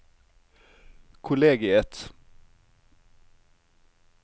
kollegiet